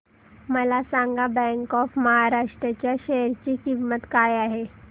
मला सांगा bank of Maharashtra च्या शेअर ची किंमत काय आहे